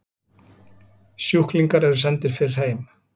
Sjúklingar eru sendir fyrr heim